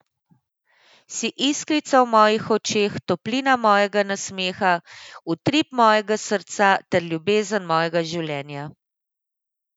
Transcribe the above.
Si iskrica v mojih očeh, toplina mojega nasmeha, utrip mojega srca ter ljubezen mojega življenja!